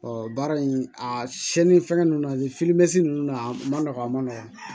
baara in a siɲɛni fɛngɛ nunnu na nin ninnu na a man nɔgɔn a ma nɔgɔn